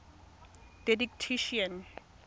didactician